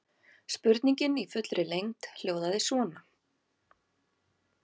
Spurningin í fullri lengd hljóðaði svona: